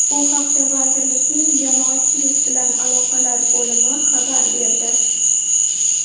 Bu haqda vazirlikning Jamoatchilik bilan aloqalar bo‘limi xabar berdi.